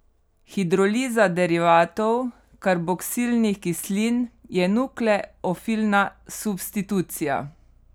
Hidroliza derivatov karboksilnih kislin je nukleofilna substitucija.